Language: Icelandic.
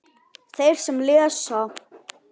Þeir sem lesa